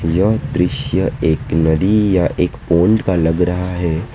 यह दृश्य एक नदी या एक पौंड का लग रहा है।